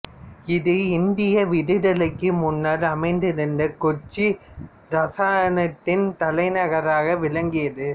இது இந்திய விடுதலைக்கு முன்னர் அமைந்திருந்த கொச்சி இராச்சியத்தின் தலைநகராக விளங்கியது